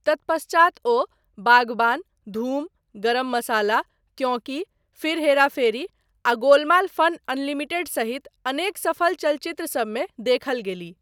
तत्पश्चात, ओ बाग़बान, धूम, गरम मसाला, क्योंकि, फिर हेरा फेरी आ गोलमाल फन अनलिमिटेड सहित अनेक सफल चलचित्रसबमे देखल गेलीह।